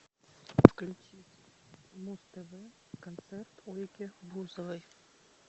включи муз тв концерт ольги бузовой